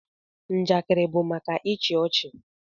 Njakịrị bụ maka ịchị ọchị